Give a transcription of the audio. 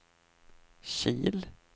Kil